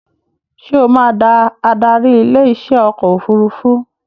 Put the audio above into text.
Ṣé ó máa da adarí ilé iṣẹ́ ọkọ̀ òfurufú